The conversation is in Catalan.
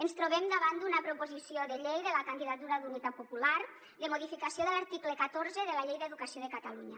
ens trobem davant d’una proposició de llei de la candidatura d’unitat popular de modificació de l’article catorze de la llei d’educació de catalunya